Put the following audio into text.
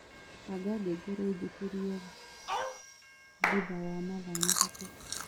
Banga ngengere injũkirĩe thutha wa mathaa matatu